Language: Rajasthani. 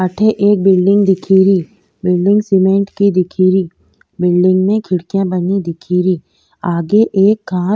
अठे एक बिलडिंग दिखे री बिलडिंग सीमेंट की दिखे री बिलडिंग में खिड़किया बनी दिखे री आगे एक --